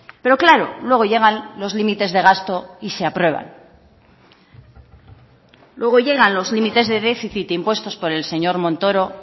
pero claro luego llegan los límites de gasto y se aprueban luego llegan los límites de déficit impuestos por el señor montoro